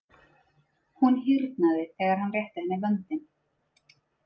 Hún hýrnaði þegar hann rétti henni vöndinn.